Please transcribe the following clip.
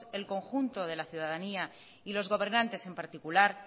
el conjunto de la ciudadanía y los gobernantes en particular